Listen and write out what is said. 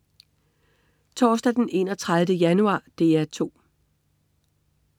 Torsdag den 31. januar - DR 2: